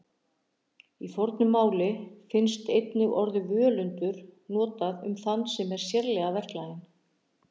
Í fornu máli finnst einnig orðið völundur notað um þann sem er sérlega verklaginn.